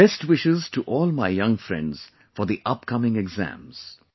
Best wishes to all my young friends for the upcoming exams